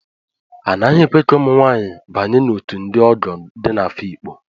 A naghị ekwe ka ụmụ nwanyị banye n'òtù ndị ogo dị n'Afikpo.